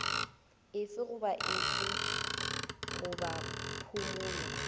efe goba efe goba phumolo